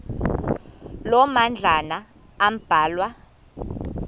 loo madlalana ambalwa